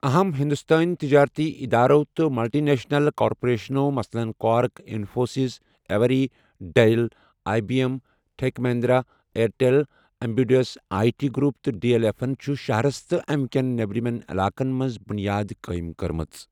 اَہم ہِنٛدُستٲنہِ تِجٲرتی اِدارو تہٕ ملٹی نیشنَل کارپوریشنَو مثلاً Quark, Infosys, Avery, Dell, I B M, Tech Mahindra, Airtel, Amadeus I T group تہٕ ڈی ایٚل ایٚفن چھِ شَہرس تہٕ اَمہِ کیٚن نیٚمرِمیٚن علاقن منٛز بُنیادٕ قٲیِم کٔرمَژٕ۔